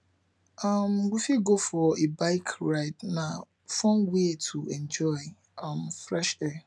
um we fit go for a bike ride na fun way to enjoy um fresh air